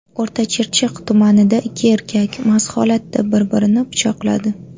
O‘rtachirchiq tumanida ikki erkak mast holatda bir-birini pichoqladi.